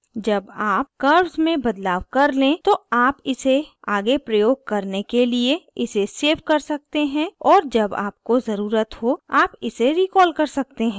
जब आप curves में बदलाव कर when तो आप इसे आगे प्रयोग करने के लिए इसे सेव कर सकते हैं और जब आपको ज़रुरत हो आप इसे रीकॉल कर सकते हैं